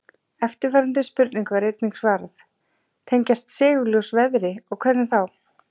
Eftirfarandi spurningu var einnig svarað: Tengjast segulljós veðri og hvernig þá?